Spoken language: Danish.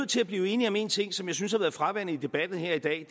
til at blive enige om en ting som jeg synes har været fraværende i debatten her i dag